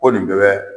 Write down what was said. Ko nin bɛɛ bɛ